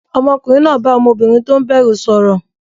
Ọmọkùnrin náà bá ọmọbìnrin tó ń bẹ̀rù sọ̀rọ̀.